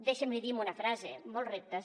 deixi’m li dir amb una frase molts reptes